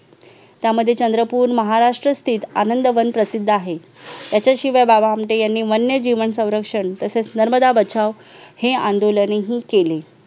त्यामध्ये चंद्रपूर महाराष्ट्र state आनंदवन प्रसिद्ध आहे त्याच्याशिवाय बाबा आमटे यांनी वन्य जीवन संरक्षण तसेच नर्मदा बचाव हे आंदोलने ही केले